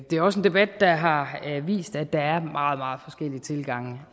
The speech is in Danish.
det er også en debat der har vist at der er meget meget forskellige tilgange